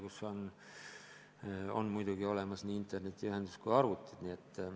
Muidugi peavad neis olemas olema nii internetiühendus kui ka arvutid.